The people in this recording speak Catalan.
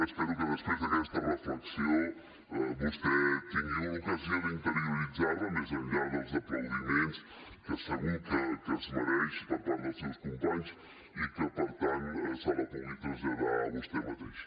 espero que després d’aquesta reflexió vostè tingui l’ocasió d’interioritzar la més enllà dels aplaudiments que segur que es mereix per part dels seus companys i que per tant se la pugui traslladar a vostè mateix